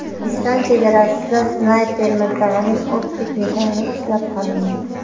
O‘zbekiston chegarasida snayper miltig‘ining optik nishoni ushlab qolindi.